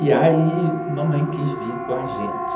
E aí, mamãe quis vir com a gente.